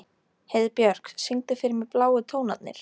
Heiðbjörk, syngdu fyrir mig „Bláu tónarnir“.